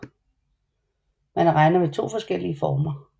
Man regner med 2 forskellige former